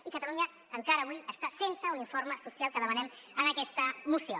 i catalunya encara avui està sense un informe social que demanem en aquesta moció